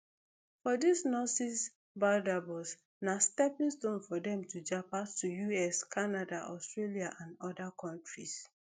for dis nurses barbados na stepping stone for dem to japa to to us canada australia and oda kontris